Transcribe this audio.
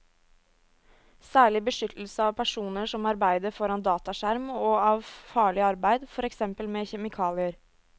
Særlig beskyttelse av personer som arbeider foran dataskjerm og av farlig arbeid, for eksempel med kjemikalier.